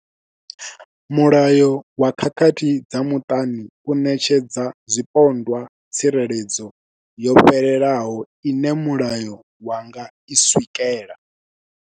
Mulayo wa khakhathi dza muṱani u ṋetshedza zwipondwa tsireledzo yo fhelelaho ine mulayo wa nga i swikela.